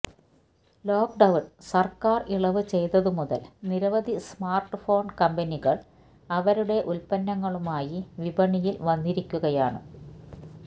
lockdown സർക്കാർ ഇളവ് ചെയ്തതുമുതൽ നിരവധി സ്മാർട്ട്ഫോൺ കമ്പനികൾ അവരുടെ ഉൽപ്പന്നങ്ങളുമായി വിപണിയിൽ വന്നിരിക്കുകയാണ്